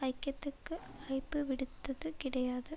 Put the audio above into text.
ஐக்கியத்துக்கு அழைப்புவிடுத்தது கிடையாது